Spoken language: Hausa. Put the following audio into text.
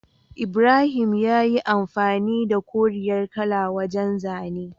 Ibrahim yayi amfani da koriyar kala wajan zane